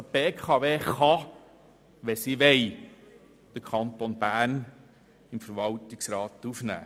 Die BKW kann, wenn sie will, den Kanton Bern im Verwaltungsrat aufnehmen.